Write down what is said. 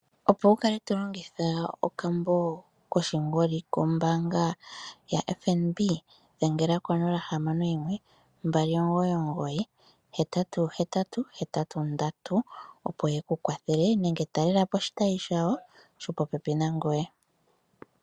Opo wukale to longitha okambo koshingoli kombaanga yo fnb, dhengela ko 061 2998883 opo yeku kwathela nenge talelapo oshitayi shawo shopopepi nangoye.